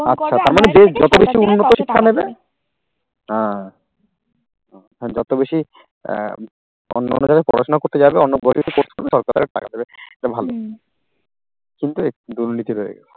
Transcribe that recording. হ্যাঁ, যত বেশি আহ অন্য জায়গায় পড়াশোনা করতে যাবে এটা ভালো কিন্তু দুর্নীতি